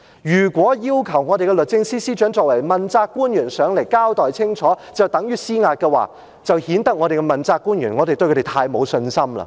如果要求律政司司長作為問責官員前來立法會交代清楚，就等於施壓，便顯得我們對問責官員太沒有信心。